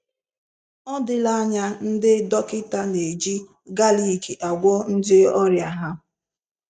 Ọ dịla anya ndị dọkịta na-eji galik agwọ ndị ọrịa ha.